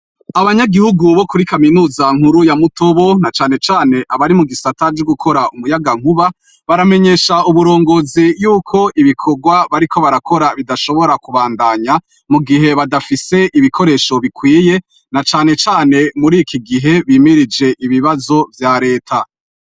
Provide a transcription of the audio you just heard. Abanyagihugu bo kuri kaminuza nkuru ya muto bo na canecane abari mu gisataji gukora umuyaga nkuba baramenyesha uburongozi yuko ibikorwa bariko barakora bidashobora kubandanya mu gihe badafise ibikoresho bikwiye na canecane muri iki gihe bimirije ibibazo vya leta.